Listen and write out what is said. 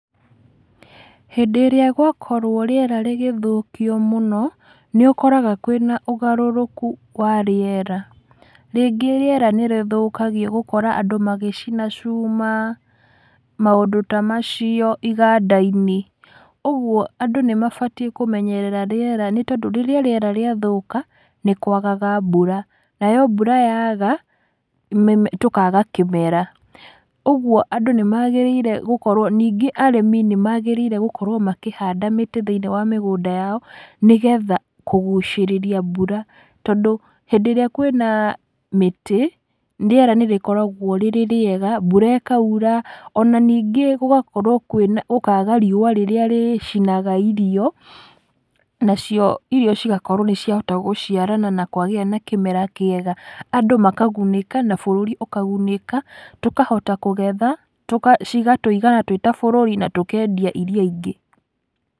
Hĩndĩ ĩrĩa gwakorwo rĩera rĩgĩthũkio mũno, nĩũkoraga kwĩna ũgarũrũku wa rĩera, rĩngĩ rĩera nĩrĩthũkagio gũkora andũ magĩcina cuma, maũndũ ta macio iganda-inĩ. Ũguo andũ nĩmabatiĩ kũmenyerera rĩera nĩtondũ rĩrĩa rĩera rĩathũka, nĩkwaga mbura, nayo mbura yaga, mĩme tũkaga kĩmera. Ũguo andũ nĩmagĩrĩiorwo gũkorwo ningĩ arĩmi nĩmagĩrĩirwo gũkorwo makĩhanda mĩtĩ thĩ-inĩ wa mĩgũnda yao, nĩgetha kũgucĩrĩria mbura, tondũ hĩndĩ ĩrĩa kwĩna mĩtĩ, rĩera nĩrĩkoragwo rĩrĩ rĩega, mbura ĩkaura, ona ningĩ gũgakorwo kwĩna gũkaga riũa rĩrĩa rĩcinaga irio, nacio irio cigakorwo nĩciahota gũciarana na kwagĩa na kĩmera kĩega, andũ makagunĩka, na bũrũri ũkagunĩka, tũkahota kũgetha, tũka cikatũigana twĩ ta bũrũri na tũkendia iria ingĩ.